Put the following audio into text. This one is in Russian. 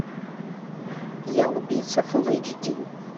я убийца фул эйч ди